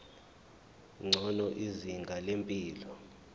ngcono izinga lempilo